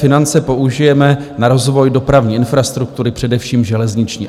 Finance použijeme na rozvoj dopravní infrastruktury, především železniční."